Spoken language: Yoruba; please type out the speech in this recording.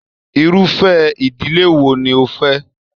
Irufẹ ìdílé wo ni o fẹ?